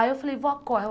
Aí eu falei, vó, corre.